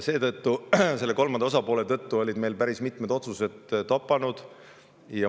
Seetõttu, selle kolmanda osapoole tõttu jäid meil päris mitmed otsused toppama.